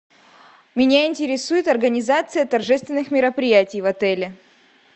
меня интересует организация торжественных мероприятий в отеле